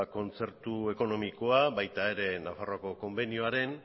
kontzertu ekonomikoa baita ere nafarroako konbenioaren